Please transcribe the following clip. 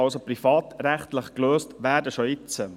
Es kann also privatrechtlich gelöst werden, schon jetzt.